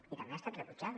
i també ha estat rebutjada